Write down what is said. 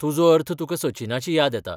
तुजो अर्थ तुकां सचिनाची याद येता.